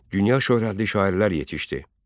Dünya şöhrətli şairlər yetişdi.